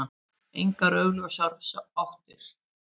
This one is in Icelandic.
Engar augljósar áttir.